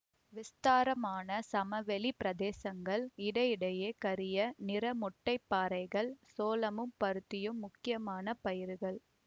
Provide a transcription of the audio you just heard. விஸ்தாரமான சமவெளிப் பிரதேசங்கள் இடையிடையே கரிய நிற மொட்டைப்பாறைகள் சோளமும் பருத்தியும் முக்கியமான பயிர்கள்